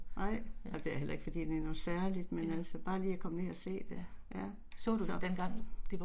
Ej. Jamen det er heller fordi det er noget særligt, men altså bare lige og komme ned og se det, ja. Så